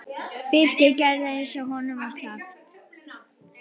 Birkir gerði eins og honum var sagt.